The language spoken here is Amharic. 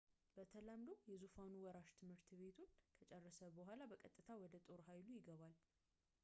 በተለምዶ የዙፋኑ ወራሽ ትምህርቱን ከጨረሰ በኋላ በቀጥታ ወደ ጦር ኃይሉ ይገባል